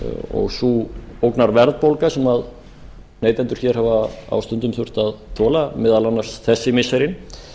og sú ógnarverðbólgu sem neytendur hér hafa á stundum þurft að þola meðal annars þessi missirin